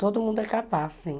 Todo mundo é capaz, sim.